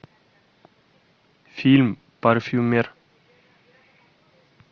фильм парфюмер